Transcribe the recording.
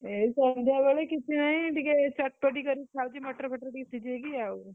ଏଇ ସନ୍ଧ୍ୟାବେଳେ କିଛିନାଇ ଟିକେ, ଚଟପଟି କରି ଖାଉଛି ମଟର ଫଟର ଟିକେ ସିଝେଇକି ଆଉ।